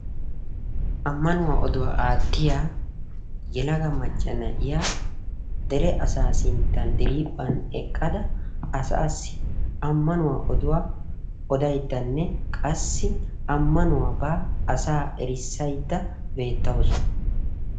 ammanuwa odduwa aatiya yelaga macca na'iya derephaa bolan eqqida na'iya amanuwa erisaydda dere asaassi aataydda de'awusu.